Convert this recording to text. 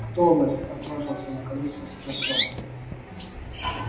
кто вы отважился наконец спросить артем